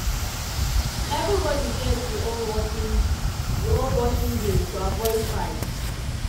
everybody get e own washing e own washing day to avoid fight.